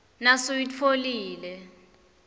nasuyitfolile